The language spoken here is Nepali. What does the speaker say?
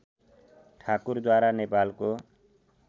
ठाकुरद्वारा नेपालको